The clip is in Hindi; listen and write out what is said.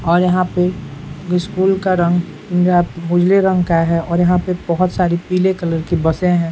और यहाँ पे स्कूल का रंग पीला उजले रंग का है और यहाँ पे बहुत सारी पीले कलर की बसे हैं ।